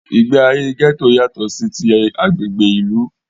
Ìgbé ayé gẹ́tò yátọ̀ sí tí agbègbè ìlú.